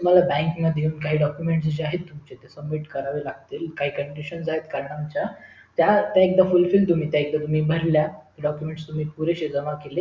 तुम्हला bank मध्ये येऊन काही document t जे आहेत तुमचे submit करावे लागतील काही condition आहेत कारण आमच्या त्याएकदा तुम्ही full fila का भरल्या document पुरेसे जमा केले